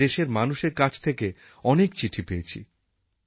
আমি দেশের মানুষের কাছ থেকে অনেক চিঠি পেয়েছি